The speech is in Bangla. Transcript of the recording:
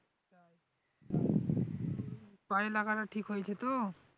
পায়ে লাগাটা ঠিক হয়েছে তো?